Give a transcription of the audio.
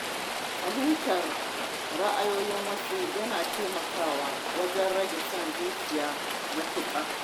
Fahimtar ra’ayin wasu yana taimakawa wajen rage son zuciya matuƙa.